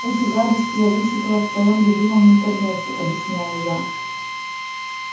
эти гадости я вычитала в твоём любимом интернете объясняю я